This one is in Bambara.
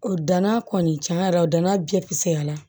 O danna kɔni cɛn yɛrɛ la o danna jɛya la